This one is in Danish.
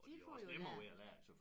De får jo lært